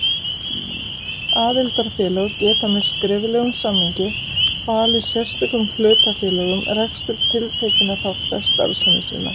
Aðildarfélög geta með skriflegum samningi falið sérstökum hlutafélögum rekstur tiltekinna þátta starfsemi sinnar.